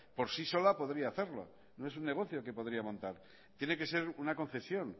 por sí sola podría hacerlo no es un negocio que podría montar tiene que ser una concesión